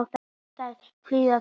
En þær fíla það.